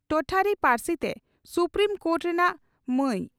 ᱴᱚᱴᱷᱟᱨᱤ ᱯᱟᱹᱨᱥᱤ ᱛᱮ supreme court ᱨᱮᱱᱟᱜ ᱢᱟᱭ